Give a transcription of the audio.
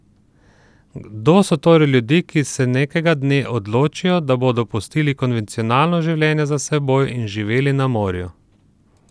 Kdo so torej ljudje, ki se nekega dne odločijo, da bodo pustili konvencionalno življenje za seboj in živeli na morju?